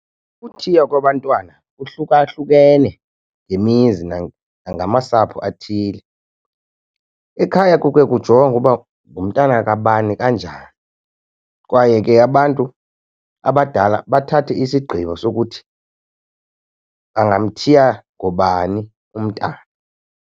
Ukuthiya kwabantwana kuhlukahlukene ngemizi nangamasapho athile. Ekhaya kuke kujongwe uba ngumntana kabani kanjani, kwaye ke abantu abadala bathathe isigqibo sokuthi bangamthiya ngobani umntana.